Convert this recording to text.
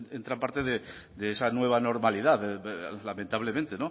entra en parte de esa nueva normalidad lamentablemente